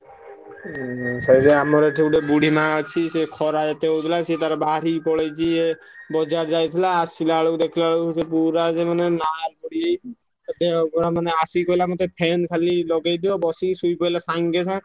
ଉଁ ସେଇଥିପାଇଁ ଆମର ଏଠି ଗୋଟେ ବୁଢୀ ମାଆ ଅଛି। ସିଏ ଖରା ଏତେ ହଉଥିଲା ସିଏ ତାର ବାହାରିକି ପଳେଇଛି ଇଏ ବଜାର ଯାଇଥିଲା। ଆସିଲାବେଳକୁ ଦେଖିଲାବେଳକୁ ସେ ପୁରା ଯୋଉ ମାନେ ଲାଲ ପଡିଯାଇଛି। ତା ଦେହ ପୁରା ମାନେ ଆସିକି କହିଲା ମତେ fan ଖାଲି ଲଗେଇଦିଅ ବସିକି ଶୋଇପଇଲା ସାଙ୍ଗେ ସାଙ୍ଗେ।